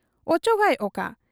ᱚᱪᱚᱜᱟᱭ ᱚᱠᱟ ?